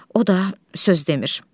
O da söz demir.